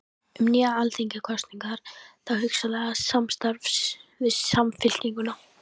Um nýjar alþingiskosningar og þá hugsanlega samstarf við Samfylkinguna?